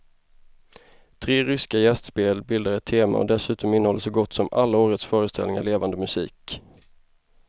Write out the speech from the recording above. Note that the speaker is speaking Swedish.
Tre ryska gästspel bildar ett tema och dessutom innehåller så gott som alla årets föreställningar levande musik.